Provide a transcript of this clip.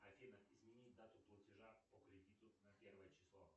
афина изменить дату платежа по кредиту на первое число